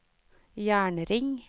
jernring